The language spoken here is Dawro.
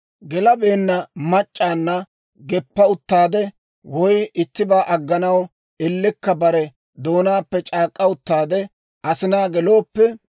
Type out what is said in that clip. «Gelabeenna mac'c'awunna geppa uttaade, woy ittibaa agganaw ellekka bare doonaappe c'aak'k'a uttaade asinaa gelooppe,